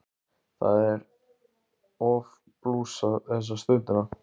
Það er of blúsað þessa stundina.